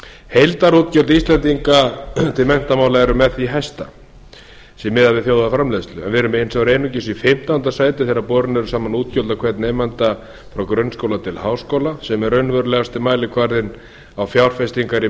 heildarútgjöld íslendinga til menntamála eru með því hæsta miðað við þjóðarframleiðslu en við erum hins vegar einungis í fimmtánda sæti þegar borin eru saman útgjöld á hvern nemanda frá grunnskóla til háskóla sem er raunverulegasti mælikvarðinn á fjárfestingar í